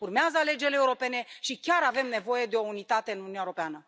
Urmează alegerile europene și chiar avem nevoie de o unitate în Uniunea Europeană.